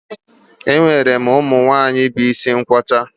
E nwere ụmụ nwaanyị bu isi nkwọcha